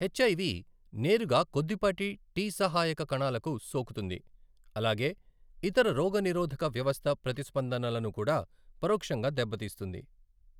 HIV నేరుగా కొద్దిపాటి T సహాయక కణాలకు సోకుతుంది, అలాగే ఇతర రోగనిరోధక వ్యవస్థ ప్రతిస్పందనలను కూడా పరోక్షంగా దెబ్బతీస్తుంది.